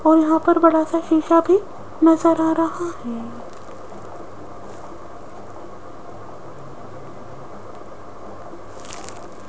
और यहां पर बड़ा सा शीशा भी नजर आ रहा है।